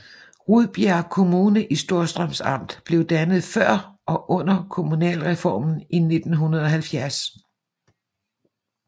Rudbjerg Kommune i Storstrøms Amt blev dannet før og under kommunalreformen i 1970